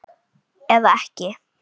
Eða ekki?